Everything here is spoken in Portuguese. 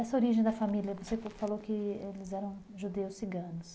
Essa origem da família, você falou que eles eram judeus ciganos.